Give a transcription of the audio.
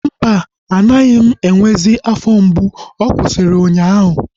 Mba, anaghị m enwezi afọ mgbu. Ọ kwụsịrị ụnyaahụ